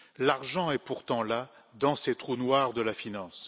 L'argent est pourtant là, dans ces trous noirs de la finance.